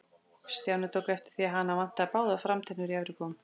Stjáni tók eftir því að hana vantaði báðar framtennur í efri góm.